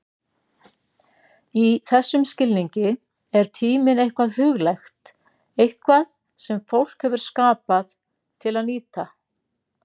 Í þessum skilningi er tíminn eitthvað huglægt, eitthvað sem fólk hefur skapað til að nýta.